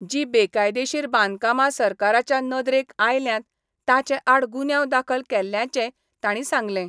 जी बेकायदेशीर बांदकामा सरकाराच्या नदरेक आयल्यांत ताचे आड गुन्यांव दाखल केल्ल्यांचेय तांणी सांगलें.